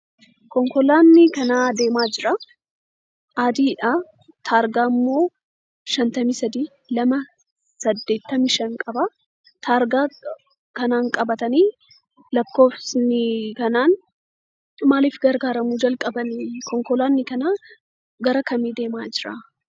Konkolaatni karaa adeemaa jira. Adiidha, taargaammoo 53285 qaba. Taargaa kanaan qabatanii lakkoofsi kanaan maaliif gargaaramuu calqabanii? Konkolaatni kun gara kam deemaa jira?